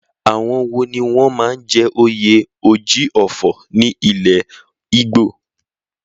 Àwọn wo ni wọ́n máa ń jẹ oyè Oji Ofo ní ilẹ̀ Ìgbò?